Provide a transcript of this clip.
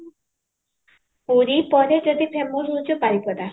ପୁରୀ ପରେ ଯଦି famous ହୋଉଛି ବାରିପଦା